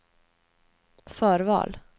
förval